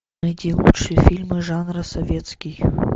найти лучшие фильмы жанра советский